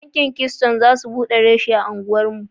Banki keystone za su buɗe rashi a anguwar mu.